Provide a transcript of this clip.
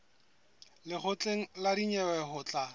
lekgotleng la dinyewe ho tla